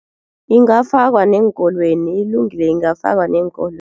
Ingafakwa neenkolweni, ilungile ingafakwa neenkolweni.